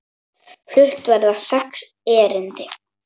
Flutt verða sex erindi.